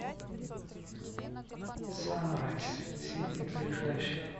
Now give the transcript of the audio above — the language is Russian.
санрайз сити ближайший